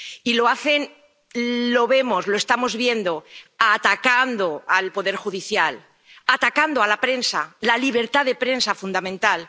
Y lo hacen —lo vemos, lo estamos viendo— atacando al Poder Judicial, atacando a la prensa, la libertad de prensa fundamental.